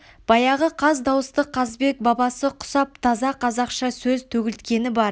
баяғы қаз дауысты қазыбек бабасы құсап таза қазақша сөз төгілткені бар